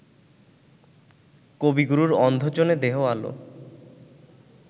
কবিগুরুর অন্ধজনে দেহ আলো